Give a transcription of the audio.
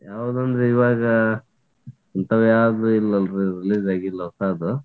ಯಾವದಂದ್ರ್ ಇವಾಗ ಇಂತಾವ್ ಯಾವು ಇಲ್ಲಲ್ರಿ release ಆಗಿಲ್ಲ ಅಲ್ಲ